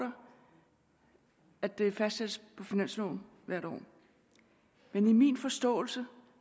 at det fastsættes på finansloven hvert år men i min forståelse